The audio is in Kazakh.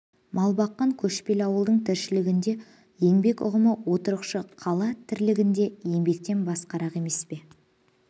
мал баққан көшпелі ауылдың тіршілігінде еңбек ұғымы отырықшы қала тірлігіндегі еңбектен басқарақ емес пе